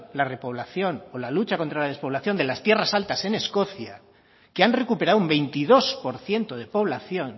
la repoblación o la lucha contra la despoblación de las tierras altas en escocia que han recuperado un veintidós por ciento de población